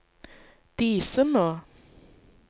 Disenå